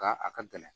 Ka a ka gɛlɛn